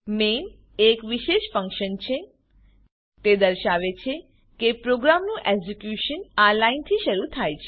main એક વિશેષ function છે તે દર્શાવે છે કે પ્રોગ્રામનું એક્ઝીક્યુશન આ લાઈનથી શરૂ થાય છે